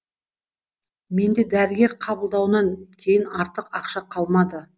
менде дәрігер қабылдауынан кейін артық ақша қалмады